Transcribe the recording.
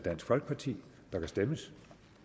der kan stemmes